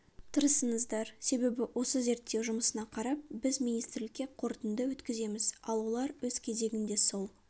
тырысыңыздар себебі осы зерттеу жұмысына қарап біз министрлікке қорытынды өткіземіз ал олар өз кезегінде сол